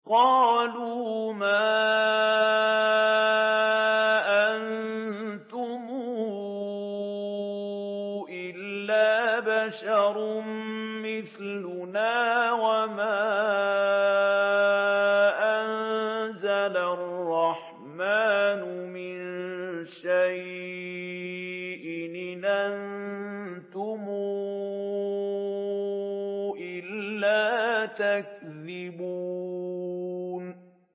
قَالُوا مَا أَنتُمْ إِلَّا بَشَرٌ مِّثْلُنَا وَمَا أَنزَلَ الرَّحْمَٰنُ مِن شَيْءٍ إِنْ أَنتُمْ إِلَّا تَكْذِبُونَ